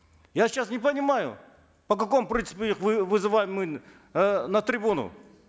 я сейчас не понимаю по какому принципу их вызываем мы э на трибуну